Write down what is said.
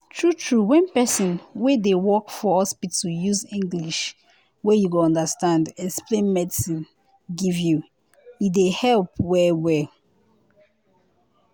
true true wen pesin wey dey work for hospital use english wey you go understand explain medicine give you e dey help well well.